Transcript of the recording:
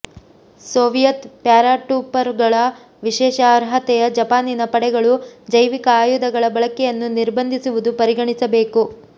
Soviet ಪ್ಯಾರಾಟೂಪರ್ಗಳ ವಿಶೇಷ ಅರ್ಹತೆಯ ಜಪಾನಿನ ಪಡೆಗಳು ಜೈವಿಕ ಆಯುಧಗಳ ಬಳಕೆಯನ್ನು ನಿರ್ಬಂಧಿಸುವುದು ಪರಿಗಣಿಸಬೇಕು